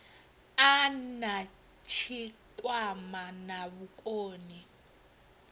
a na tshikwama na vhukoni